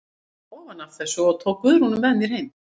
Ég fékk hann ofan af þessu og tók Guðrúnu með mér heim.